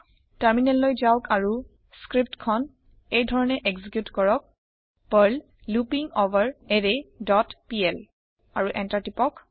terminal যাওক আৰু স্ক্ৰীপ্টখন এইধৰণে এক্সিকিউত কৰক পাৰ্ল লুপিঙভেৰাৰায় ডট পিএল আৰু এন্টাৰ টিপক